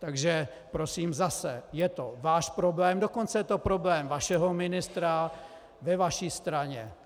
Takže prosím, zase - je to váš problém, dokonce je to problém vašeho ministra, ve vaší straně.